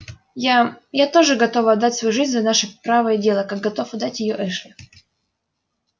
я я тоже готова отдать свою жизнь за наше правое дело как готов отдать её эшли